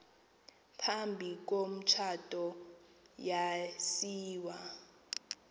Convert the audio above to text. phambi komtshato yasiwa